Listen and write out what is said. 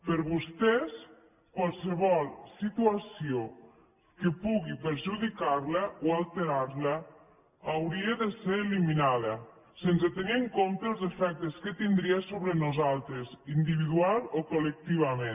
per vostès qualsevol situació que pugui perjudicar la o alterar la hauria de ser eliminada sense tenir en compte els efectes que tindria sobre nosaltres individualment o col·lectivament